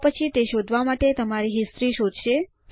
આ પછી તે શોધવા માટે તમારી હિસ્ટોરી શોધશે